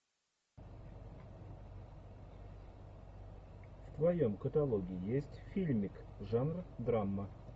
в твоем каталоге есть фильмик жанр драма